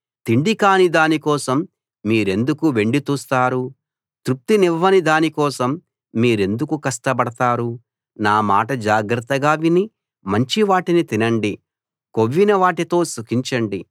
తిండి కాని దాని కోసం మీరెందుకు వెండి తూస్తారు తృప్తినివ్వని దానికోసం మీరెందుకు కష్టపడతారు నా మాట జాగ్రత్తగా విని మంచివాటిని తినండి కొవ్విన వాటితో సుఖించండి